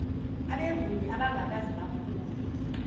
abenguni abangakaze baphuphe